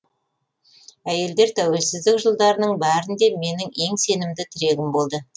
әйелдер тәуелсіздік жылдарының бәрінде менің ең сенімді тірегім болды